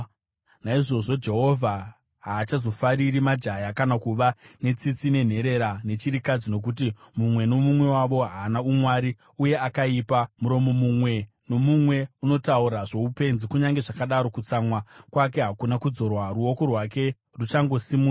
Naizvozvo Jehovha haachazofariri majaya, kana kuva netsitsi nenherera nechirikadzi, nokuti mumwe nomumwe wavo haana umwari uye akaipa, muromo mumwe nomumwe unotaura zvoupenzi. Kunyange zvakadaro, kutsamwa kwake hakuna kudzorwa, ruoko rwake ruchakangosimudzwa.